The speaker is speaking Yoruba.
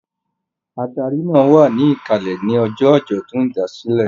Adarí náà wà ní ìkàlẹ̀ ní ọjọ́ àjọ̀dún ìdásílẹ̀.